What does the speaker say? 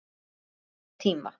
Upphaf nýrri tíma.